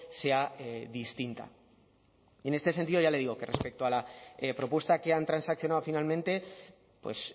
sea distinta y en este sentido ya le digo que respecto a la propuesta que han transaccionado finalmente pues